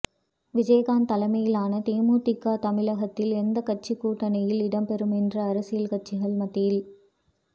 விஜயகாந்த் தலைமையிலான தேமுதிக தமிழகத்தில் எந்தக் கட்சிக் கூட்டணியில் இடம்பெறும் என்று அரசியல் கட்சிகள் மத்தியில்